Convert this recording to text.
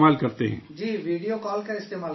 جی، video call کا استعمال کرتے ہیں